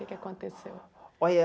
O que que aconteceu? Olha